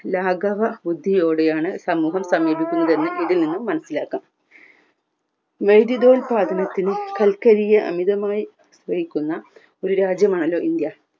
ലാഘവ മിദ്യയോടെയാണ് സമൂഹം സമീപിക്കുന്നത് എന്ന് ഇതിൽ നിന്നും മനസിലാക്കാം ഉൽപ്പാദനത്തിന് കൽക്കരിയെ അമിതമായി വിൽക്കുന്ന ഒരു രാജ്യമാണ് ഇന്ത്യ